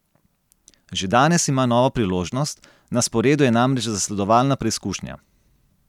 Že danes ima novo priložnost, na sporedu je namreč zasledovalna preizkušnja.